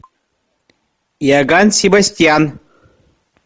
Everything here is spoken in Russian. иоганн себастьян